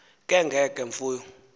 ke nge mfuyo